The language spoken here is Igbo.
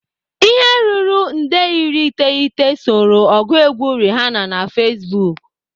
Ihe ruru nde iri iteghete soro ọgụ egwu Rihanna na Facebook.